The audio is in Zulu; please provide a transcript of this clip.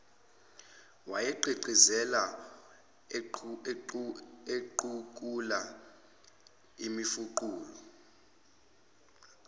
wayegqigqizela equkula imifuqulu